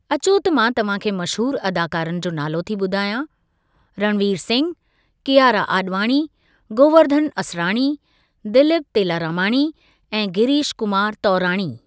अचो त मां तव्हां खे मशहूर अदाकारनि जो नालो थी ॿुधायां रणवीर सिंह, कियारा आॾवाणी, गोवेर्धन असराणी, दिलीप तेलारामाणी ऐं गिरीश कुमार तौराणी।